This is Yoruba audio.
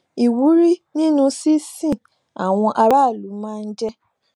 ìwúrí nínú sísin àwọn aráàlú máa ń jé